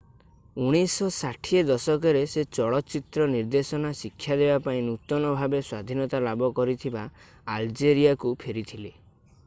1960 ଦଶକରେ ସେ ଚଳଚିତ୍ର ନିର୍ଦ୍ଦେଶନା ଶିକ୍ଷା ଦେବାପାଇଁ ନୂତନ-ଭାବେ-ସ୍ଵାଧୀନତା ଲାଭ କରିଥିବା ଆଲଜେରିଆକୁ ଫେରିଥିଲେ